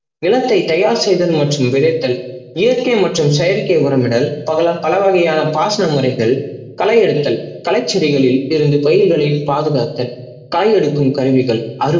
நிலத்தை தயார்செய்தல் மற்றும் விளைத்தல் இயற்க்கை மற்றும் செயற்கை உறவிடல் பல வகையான பாசன முறைகள், கலை எடுத்தல் கலைச்செடிகளில் இருந்தும் பயிர்களையும் பாதுகாத்தல், கலை எடுக்கும் கருவிகள்,